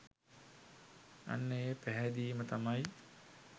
අන්න ඒ පැහැදීම තමයි